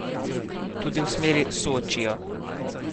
Tudi v smeri Sočija.